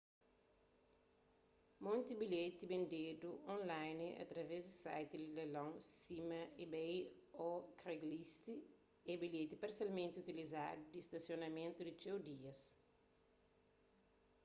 monti bilheti bendedu online através di site di leilon sima ebay ô craigslist é bilheti parsialmenti utilizadu di stasionamentu di txeu dias